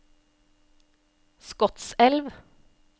Skotselv